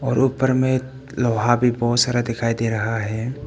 और ऊपर में लोहा भी बहुत सारा दिखाई दे रहा है।